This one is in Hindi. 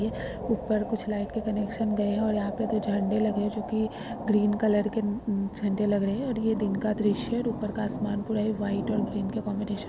ऊपर कुछ लाइट के कनेक्शन गए है और यहां पे दो झंडे लगे हैं जो की ग्रीन कलर के उम्म झंडे लग रहे है और ये दिन का दृश्य है और ऊपर का आसमान पूरा ही व्हाइट और ग्रीन का कॉम्बिनेशन --